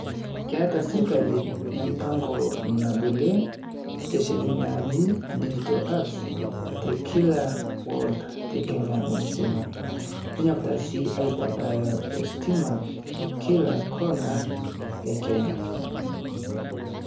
Keeta sirkali empango nabolie station naaji dijital hubs te kila ward te Kenya msima. Neny'okita sii aitabaya ositima kila corner e Kenya.